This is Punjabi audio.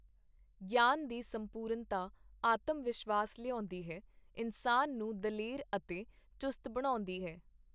ਗਿਆਨ ਦੀ ਸੰਪੂਰਨਤਾ ਆਤਮ-ਵਿਸ਼ਵਾਸ ਲਿਆਉਂਦੀ ਹੈ, ਇਨਸਾਨ ਨੂੰ ਦਲੇਰ ਤੇ ਚੁਸਤ ਬਣਾਉਂਦੀ ਹੈ.